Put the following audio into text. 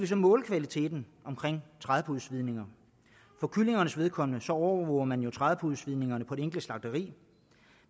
så måle kvaliteten omkring trædepudesvidninger for kyllingernes vedkommende overvåger man jo trædepudesvidningerne på det enkelte slagteri